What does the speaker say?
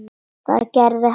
Það gerði hann.